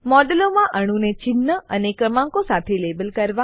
મોડેલમાં અણુઓને ચિન્હ અને ક્રમાંકો સાથે લેબલ કરવા